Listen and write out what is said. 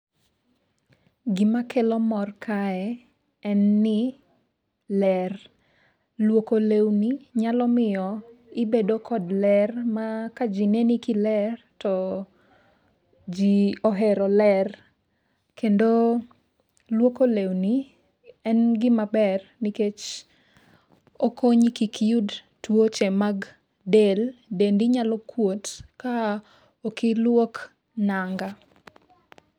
Gima kelo mor kae en ni ler. Luoko lewni nyalomiyo ibedo kod ler ma ka ji neni kiler to ji ohero ler. Kendo lwoko lewni en gima ber nikech okonyi kik iyud tuoche mag del. Dendi nyalo kuot ka ok iluok nanga.